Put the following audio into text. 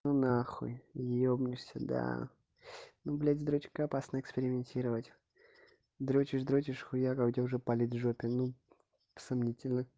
ну нахуй ебнишься да ну блять с дрочкой опасно экспериментировать дрочишь дрочишь хуяк а у тебя уже палец в жопе ну сомнительно